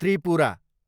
Tripura